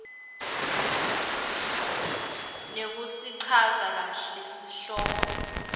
nekusichaza kahle sihloko